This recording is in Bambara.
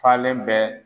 Falen bɛɛ